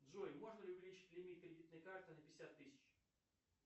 джой можно ли увеличить лимит кредитной карты на пятьдесят тысяч